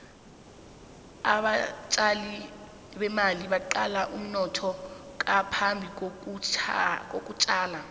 abatjali bemali baqala umnotho ngaphambi kokutjala